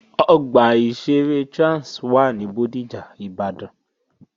Ọgbà ìṣeré Trans wà ní Bódìjà, Ìbàdàn